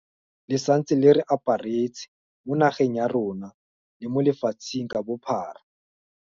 Le santse le re aparetse, mo nageng ya rona le mo lefatsheng ka bophara.